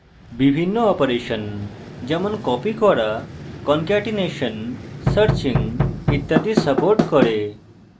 বিভিন্ন অপারেশন যেমন copying করা কনকেটিনেশন searching ইত্যাদি সাপোর্ট করে